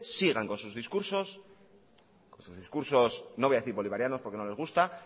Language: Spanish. sigan con sus discursos no voy a decir bolivarianos porque no les gusta